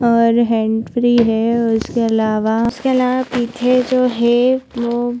और hand free है उसके अलावा उसके अलावा पीछे जो है वो--